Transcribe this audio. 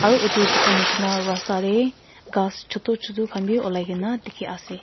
aru etu dikhai nishena rasta de ghas chutu chutu khan b ulai gina dikhi ase.